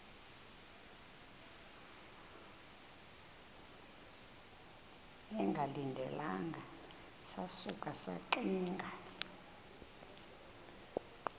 bengalindelanga sasuka saxinga